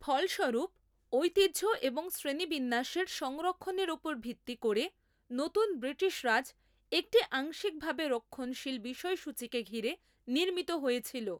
ফলস্বরূপ, ঐতিহ্য এবং শ্রেণিবিন্যাসের সংরক্ষণের ওপর ভিত্তি করে নতুন ব্রিটিশ রাজ একটি আংশিকভাবে রক্ষণশীল বিষয়সূচিকে ঘিরে নির্মিত হয়েছিল।